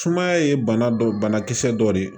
Sumaya ye bana dɔ banakisɛ dɔ de ye